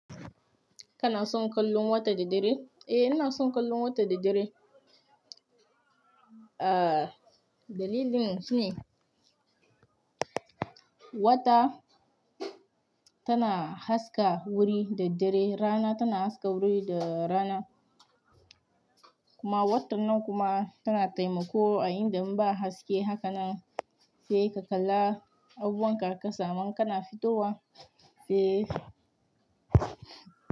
Kana son kallon wata da dare? Eh, ina son kallon wata da dare. Ah, dalilin shine wata tana haska wuri da dare, rana tana haska wuri da rana kuma wata nan kuma tana taimako a inda in ba haske haka nan sai ka kalla abubuwan ka a ƙasa ma in kana fitowa se.